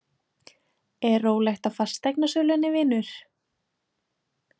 Er rólegt á fasteignasölunni, vinur?